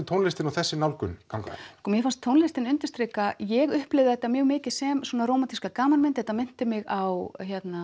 tónlistin og þessi nálgun ganga sko mér fannst tónlistin undirstrika ég upplifði þetta mjög mikið sem svona rómantíska gamanmynd þetta minnti mig á Much